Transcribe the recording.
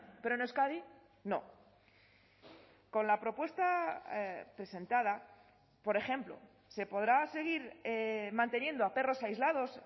pero en euskadi no con la propuesta presentada por ejemplo se podrá seguir manteniendo a perros aislados